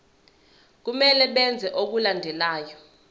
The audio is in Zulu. kumele benze okulandelayo